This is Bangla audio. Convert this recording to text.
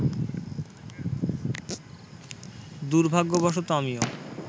দুর্ভাগ্যবশত আমিও